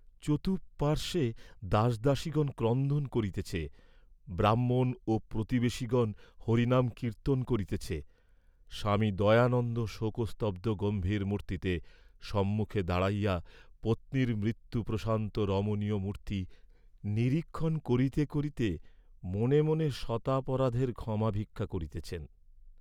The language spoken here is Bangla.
চতুঃপার্শ্বে, দাসদাসীগণ ক্রন্দন করিতেছে, ব্রাহ্মণ ও প্রতিবেশগণ হরিনাম কীর্ত্তন করিতেছে, স্বামী দয়ানন্দ শোকস্তব্ধ গম্ভীর মূর্ত্তিতে সম্মুখে দাঁড়াইয়া পত্নীর মৃত্যুপ্রশান্ত রমণীয় মূর্ত্তি নিরীক্ষণ করিতে করিতে মনে মনে শতাপরাধের ক্ষমা ভিক্ষা করিতেছেন।